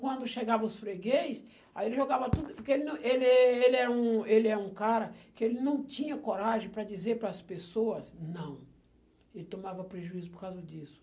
Quando chegavam os freguês, aí ele jogava tudo, porque ele não ele eh, ele é um ele é um cara que não tinha coragem para dizer para as pessoas, não, ele tomava prejuízo por causa disso.